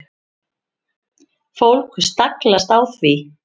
Fólk staglast á því.